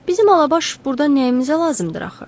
Bizim Alabaş burda nəyimizə lazımdır axı?